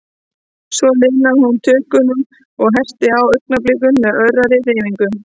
Svo linaði hún á tökunum, og ég herti á augnablikunum með örari hreyfingum.